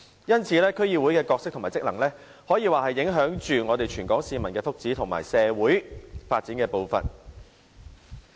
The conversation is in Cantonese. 因此，區議會的角色和職能可說是影響全港市民的福祉和社會發展的步伐。